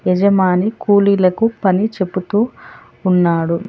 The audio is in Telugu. యజమాని కూలీలకు పని చెబుతూ ఉన్నాడు.